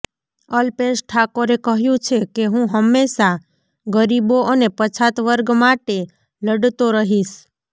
અલ્પેશ ઠાકોરે કહ્યું છે કે હું હંમેશા ગરીબો અને પછાત વર્ગ માટે લડતો રહીશ